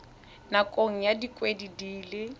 nakong ya dikgwedi di le